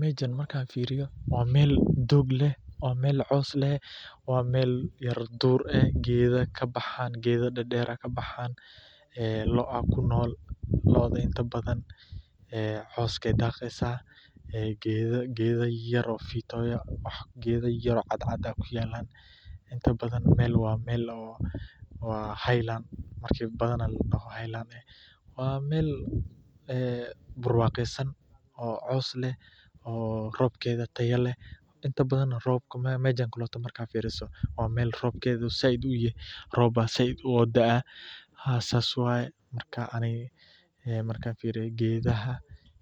Meshan waa meel coos leh oo yar duur eh, geeda ayaa kabaxaan, loo ayaa kunool, waa meel buuro, waa meel barwaqesan, oo roobkeeda sait uu yahay, markaan fiiriyo geedaha